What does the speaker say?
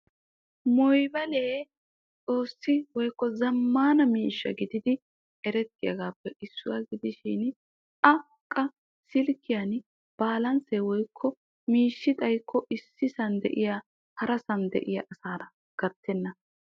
Mobayilee xoossi woykko zammaana miishsha gididi erettiyaagappe issuwaa gidishin a qa silkkiyaan balansee xayikko woykko miishshi xayikko issi woykko harasaan de'iyaa asaara gattenna.